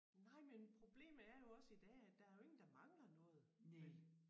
Nej men problemet er jo også i dag at der jo ingen der mangler noget vel